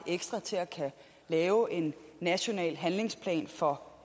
ekstra til at kunne lave en national handlingsplan for